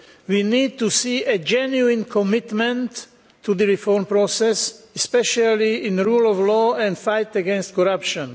We need to see a genuine commitment to the reform process, especially in the rule of law and the fight against corruption.